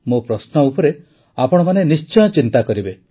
ମୋ ପ୍ରଶ୍ନ ଉପରେ ଆପଣମାନେ ନିଶ୍ଚୟ ଚିନ୍ତା କରିବେ